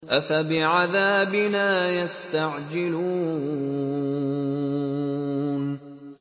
أَفَبِعَذَابِنَا يَسْتَعْجِلُونَ